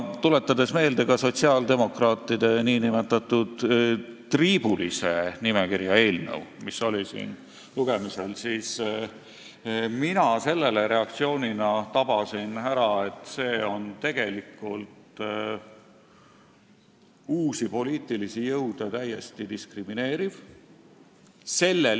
Tuletades meelde ka sotsiaaldemokraatide nn triibulise nimekirja eelnõu, mis oli siin lugemisel, tabasin mina ära, et see on tegelikult uusi poliitilisi jõude täiesti diskrimineeriv.